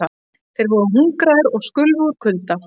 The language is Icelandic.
Þeir voru hungraðir og skulfu úr kulda.